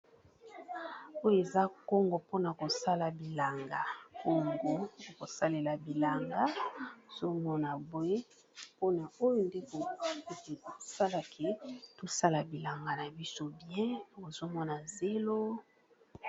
oyo eza kongo pona kosala bilanga kongo na kosalela bilanga ozomona boye pona oyo nde okoki kosala bilanga na yo malamu tozomona na zelo.